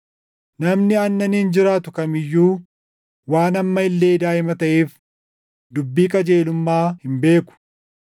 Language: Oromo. Namni aannaniin jiraatu kam iyyuu waan amma illee daaʼima taʼeef dubbii qajeelummaa hin beeku.